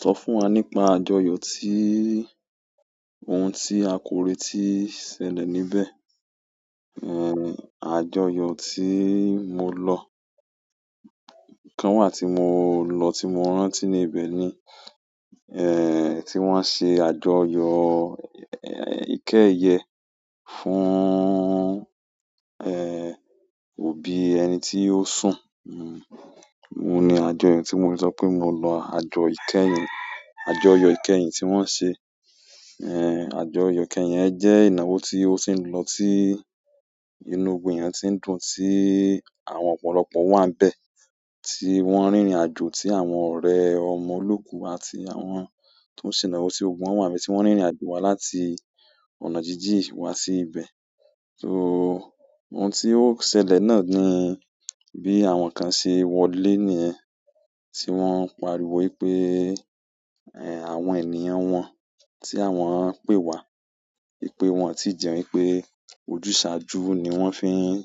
Sọ fún wa nípa àjọyọ̀ tí, ohun tí a kò retì ṣẹlẹ̀ níbẹ̀. Ehn, àjọyọ̀ tí mo lọ, ìkán wà tí mo lọ, tí mo rántí níbẹ̀ ni, eh, tí wọ́n ṣe àjọyọ̀, eh, ìkẹ́yẹ̀ẹ́ fún, eh, òbí ẹni tí ó sùn. Ohun ni àjọyọ̀ tí mo ti sọ pé mo lọ àjọ ìkẹ́yìn, àjọyọ̀ ìkẹ́yìn tí wọ́n ṣe. Eh, àjọyọ̀ ìkẹ́yìn ẹ jẹ́ ìnáwó tí ó sì ń lọ sí inú gbogbo eyan tí ń dùn, tí àwọn ọ̀pọ̀lọpọ̀ wà níbẹ̀, tí wọ́n rìnrìn àjò, tí àwọn ọ̀rẹ́, ọmọ olóòkú àti àwọn tó ń ṣìnáwó ti gbogbo wà níbí tí wọ́n rìnrìn àjò wá láti ọ̀nà jíjìn wá sí ibẹ̀. So, ohun tí ó ṣẹlẹ̀ náà ni bí àwọn kan ṣe wọlé nìyẹn, tí wọ́n ń pariwo wípé, eh, àwọn ènìyàn wọn tí àwọn ń pè wá, ìpé wọn ò tíì jẹun wípé ojúsàájú ni wọ́n fi ń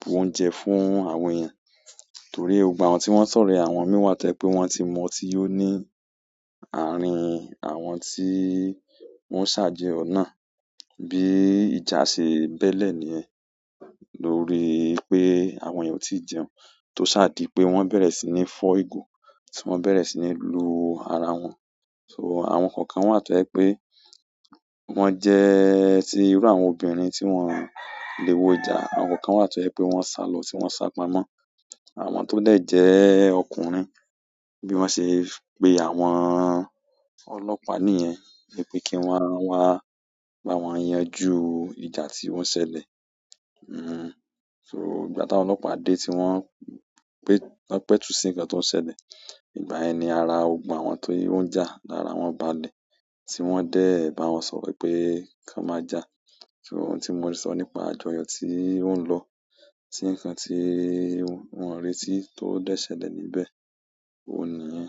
bu oúnjẹ fún àwọn èèyàn. Torí gbogbo awọ̀n tí wọ́n sọ̀rọ̀ ẹ àwọn mì wá tẹ́ pẹ̀ wọ́n ti mọ tí ó ní àárín àwọn tí wọ́n ṣàjọyọ̀ náà. Bí ìjà ṣe bẹ́lẹ̀ níyèn, lórí pé àwọn èèyàn ò tíì jẹun, tó ṣa dí pé wọ́n bẹ̀rẹ̀ sí ní fọ́ ìgò, tí wọ́n bẹ̀rẹ̀ sí ní lu ara wọn. So àwọn kọ̀ọ̀kan wọ́n to jẹ wipé, wọ́n jẹ ẹ́ sí irú àwọn obìnrin tí wọ́n o lè wo ìjà. Àwọn kan wọ́n to je wi pé wọ́n sálọ tí wọ́n sápamọ́. Àwọn tó dè jẹ́ ọkùnrin bí wọ́n ṣe pe àwọn ọlọ́pàá nìyẹn wípé kí wọ́n wá bá wọn yanjú ìjà tí o ṣẹlẹ̀. So ìgbà ti àwọn olopa de ti won petu si nkan tio ṣẹlẹ̀ igbayen ni ara gbogbo àwọn tio ja ni ara won balẹ̀. Ti won de ba won sọ̀rọ̀ wípé kan ma ja. Ohun ti mo le so nípa àjọyọ̀ ti nlo ti nkan ti won reti de ṣẹlẹ̀ níbẹ̀ ohun niyen.